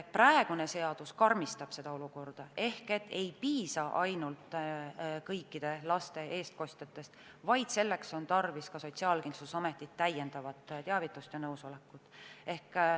Praegune seadus karmistab seda olukorda ehk ei piisa ainult kõikide laste eestkostjatest, vaid on tarvis ka Sotsiaalkindlustusameti teavitust ja nõusolekut.